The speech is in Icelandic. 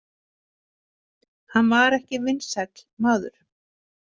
Hann var ekki vinsæll maður.